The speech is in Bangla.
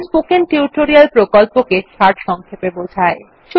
এটি স্পোকেন টিউটোরিয়াল প্রকল্পটি সারসংক্ষেপে বোঝায়